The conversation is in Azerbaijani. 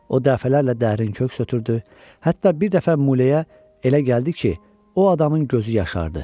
O dəfələrlə dərin köks ötürdü, hətta bir dəfə Mulyaya elə gəldi ki, o adamın gözü yaşardı.